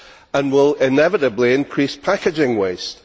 and will inevitably increase packaging waste.